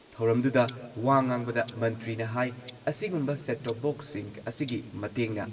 ꯊꯧꯔꯝꯗꯨꯗ ꯋꯥ ꯉꯥꯡꯕꯗ ꯃꯟꯇ꯭ꯔꯤꯅ ꯍꯥꯏ ꯑꯁꯤꯒꯨꯝꯕ ꯁꯦꯠ ꯇꯣꯞ ꯕꯣꯛꯁꯁꯤꯡ ꯑꯁꯤꯒꯤ ꯃꯇꯦꯡꯅ